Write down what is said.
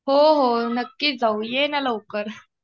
हो हो. नक्की जाऊ. ये ना लवकर.